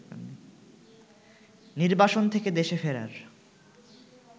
নির্বাসন থেকে দেশে ফেরার